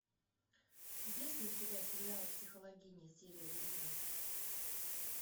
есть ли у тебя сериал психологини серия девятнадцать